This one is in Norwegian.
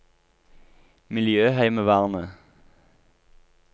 miljøheimevernet